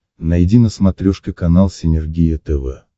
найди на смотрешке канал синергия тв